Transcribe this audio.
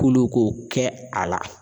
K'ulu ko kɛ a la